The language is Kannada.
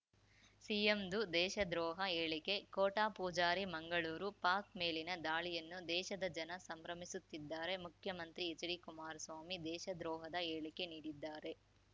ಸಿಎಂದು ದೇಶದ್ರೋಹ ಹೇಳಿಕೆ ಕೋಟ ಪೂಜಾರಿ ಮಂಗಳೂರು ಪಾಕ್‌ ಮೇಲಿನ ದಾಳಿಯನ್ನು ದೇಶದ ಜನ ಸಂಭ್ರಮಿಸುತ್ತಿದ್ದಾರೆ ಮುಖ್ಯಮಂತ್ರಿ ಎಚ್‌ಡಿಕುಮಾರಸ್ವಾಮಿ ದೇಶದ್ರೋಹದ ಹೇಳಿಕೆ ನೀಡಿದ್ದಾರೆ